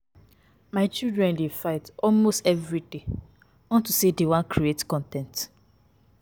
My children dey fight almost everyday unto say dey y wan create con ten t